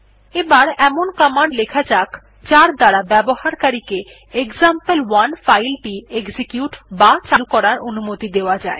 এবার এমন কমান্ড লেখা যাক যার দ্বারা ব্যবহারকারী কে এক্সাম্পল1 ফাইল টি এক্সিকিউট বা চালু করার অনুমতি দেওয়া জায়